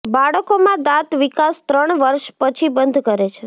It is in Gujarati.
બાળકોમાં દાંત વિકાસ ત્રણ વર્ષ પછી બંધ કરે છે